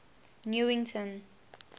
newington